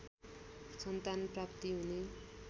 सन्तान प्राप्ति हुने